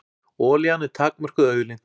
Olían er takmörkuð auðlind.